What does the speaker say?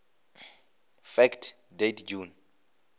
fact date june